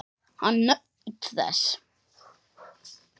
Hann naut þess.